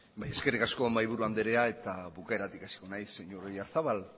bai eskerrik asko mahaiburu andrea eta bukaeratik hasiko naiz señor oyarzabal